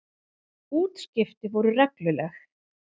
Útskipti voru regluleg.